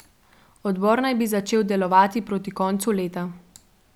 Odbor naj bi začel delovati proti koncu leta.